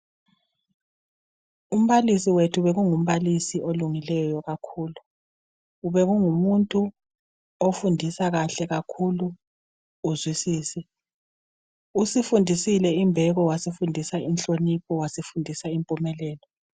Umbalisi wethu bekungumbalisi olungileyo kakhulu. Bekungumuntu ofundisa kahle kakhulu uzwisise. Usifundisile imbeko, wasifundisa inhlonipho wasifundisa impumelelo.